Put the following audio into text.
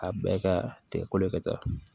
A bɛɛ ka tigɛ kolo ka ca